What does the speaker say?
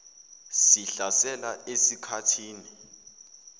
sihlasela esik hathini